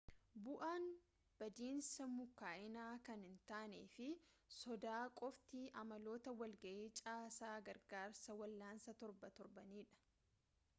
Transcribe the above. bu'aan badiinsaa mukaa'inaa kan hin taane fi soda qofti amaloota walgahii caasaa gargaarsa wal'aansaa torban torbaniidha